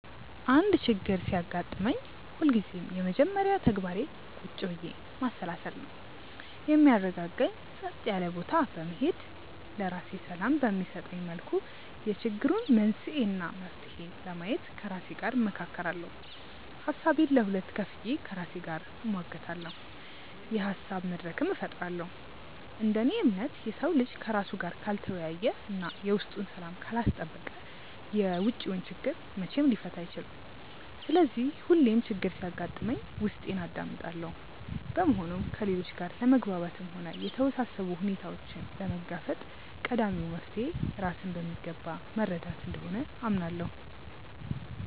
አንድ ችግር ሲያጋጥመኝ ሁልጊዜም የመጀመሪያ ተግባሬ ቁጭ ብዬ ማሰላሰል ነው። የሚያረጋጋኝ ጸጥ ያለ ቦታ በመሄድ፣ ለራሴ ሰላም በሚሰጠኝ መልኩ የችግሩን መንስኤ እና መፍትሄ ለማየት ከራሴ ጋር እመካከራለሁ። ሀሳቤን ለሁለት ከፍዬ ከራሴ ጋር እሟገታለሁ፤ የሀሳብ መድረክም እፈጥራለሁ። እንደ እኔ እምነት፣ የሰው ልጅ ከራሱ ጋር ካልተወያየ እና የውስጡን ሰላም ካላስጠበቀ የውጪውን ችግር መቼም ሊፈታ አይችልም። ስለዚህ ሁሌም ችግር ሲያጋጥመኝ ውስጤን አዳምጣለሁ። በመሆኑም ከሌሎች ጋር ለመግባባትም ሆነ የተወሳሰቡ ሁኔታዎችን ለመጋፈጥ ቀዳሚው መፍትሔ ራስን በሚገባ መረዳት እንደሆነ አምናለሁ።